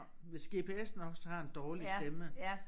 Hvis gps'en også har en dårlig stemme